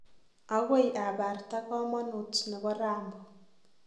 Agoi abarta komonuut nebo Rambo.